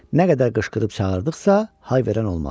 Nə qədər qışqırıb çağırdıqsa, hay verən olmadı.